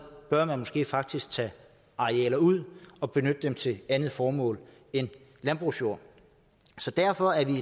bør man måske faktisk tage arealer ud og benytte dem til et andet formål end landbrugsjord så derfor er vi